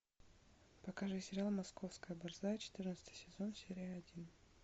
покажи сериал московская борзая четырнадцатый сезон серия один